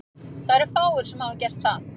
Það eru fáir sem hafa gert það.